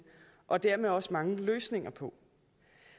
og dermed også mange løsninger på